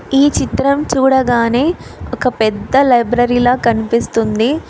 ఈ చిత్రం చూడగానే ఒక పెద్ద లైబ్రరీ ల కనిపిస్తుంది.